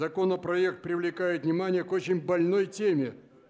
законопроект привлекает внимание к очень больной теме